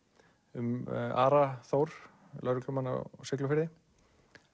um Ara Þór lögreglumann á Siglufirði